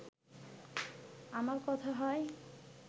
আমার কথা হয়